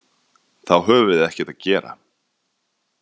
Þá höfum við ekkert að gera.